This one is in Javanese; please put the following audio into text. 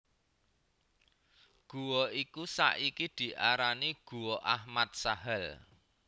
Gua iku saiki diarani Guwa Ahmad Sahal